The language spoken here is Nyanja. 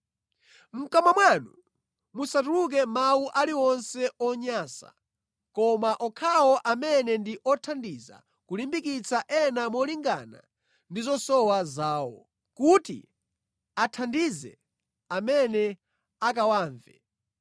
Mʼkamwa mwanu musatuluke mawu aliwonse onyansa, koma okhawo amene ndi othandiza kulimbikitsa ena molingana ndi zosowa zawo, kuti athandize amene akawamve.